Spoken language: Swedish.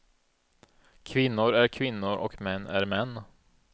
Kvinnor är kvinnor och män är män.